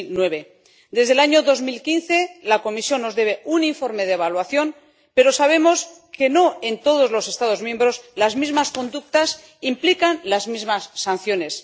2009. Desde el año 2015, la Comisión nos debe un informe de evaluación, pero sabemos que no en todos los Estados miembros las mismas conductas implican las mismas sanciones.